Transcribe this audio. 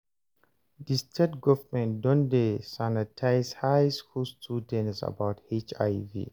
di state government don dey sanitize high school students about HIV